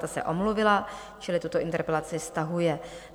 Ta se omluvila, čili tuto interpelaci stahuje.